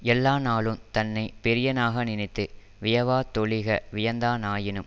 எல்லா நாளு தன்னை பெரியனாக நினைத்து வியவாதொழிக வியந்தா னாயினும்